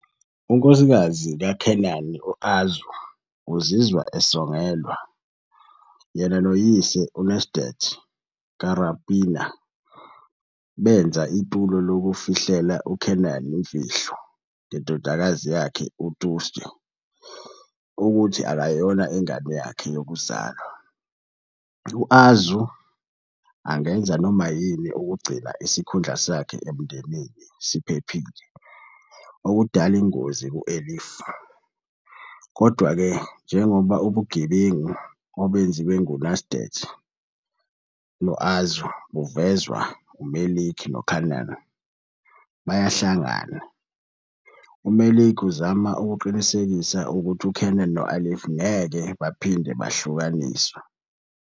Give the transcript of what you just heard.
Unkosikazi kaKenan, u-Arzu, uzizwa esongelwa. Yena noyise, uNecdet Karapınar, benza itulo lokufihlela uKenan imfihlo ngendodakazi yakhe uTuğçe ukuthi akayona ingane yakhe yokuzalwa, u-Arzu angenza noma yini ukugcina isikhundla sakhe emndenini siphephile, okudala ingozi ku-Elif. Kodwa-ke, njengoba ubugebengu obenziwe nguNecdet no-Arzu buvezwa, uMelek noKenan bayahlangana. UMelek uzama ukuqinisekisa ukuthi uKenan no-Elif ngeke baphinde bahlukaniswe.